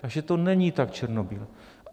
Takže to není tak černobílé.